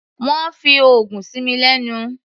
Wọ́n fi oògùn sí mi lẹ́nu.